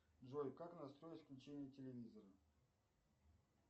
джой как настроить включение телевизора